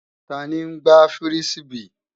Tani ń gbá fírísíbì?